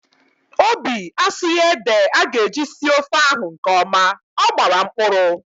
Obi asughi ede aga eji sie ofe ahụ nkeọma, ọ gbara mkpụrụ